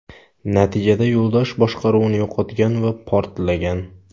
Natijada yo‘ldosh boshqaruvni yo‘qotgan va portlagan.